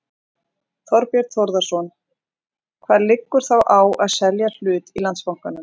Þorbjörn Þórðarson: Hvað liggur þá á að selja hlut í Landsbankanum?